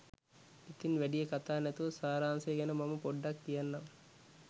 ඉතින් වැඩිය කතා නැතුව සාරාංශය ගැන මම පොඩ්ඩක් කියන්නම්.